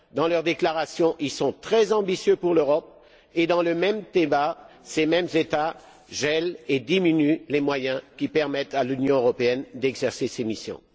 Dans leurs déclarations, ils sont très ambitieux pour l'Europe et, dans le même débat, ces mêmes États gèlent et diminuent les moyens qui permettent à l'Union européenne d'exercer ses missions.